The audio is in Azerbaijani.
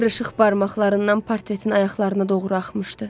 Qırışıq barmaqlarından portretin ayaqlarına doğru axmışdı.